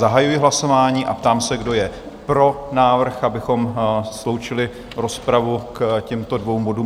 Zahajuji hlasování a ptám se, kdo je pro návrh, abychom sloučili rozpravu k těmto dvěma bodům?